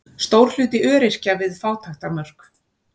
Stór hluti öryrkja við fátæktarmörk